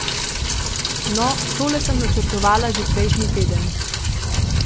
No, tole sem načrtovala že prejšnji teden.